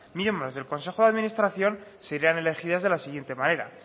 miembros del consejo de administración serían elegidas de la siguiente manera